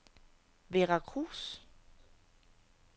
Veracruz